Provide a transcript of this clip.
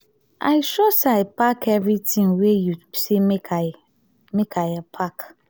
i sure say i pack everything wey you say make i make i pack